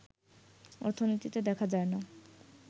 অর্থনীতিতে দেখা যায় না